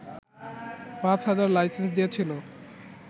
পাঁচ হাজার লাইসেন্স দিয়েছিল